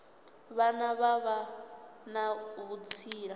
vhane vha vha na vhutsila